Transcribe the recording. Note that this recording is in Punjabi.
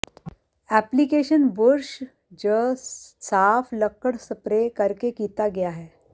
ਐਪਲੀਕੇਸ਼ਨ ਬੁਰਸ਼ ਜ ਸਾਫ਼ ਲੱਕੜ ਸਪਰੇਅ ਕਰਕੇ ਕੀਤਾ ਗਿਆ ਹੈ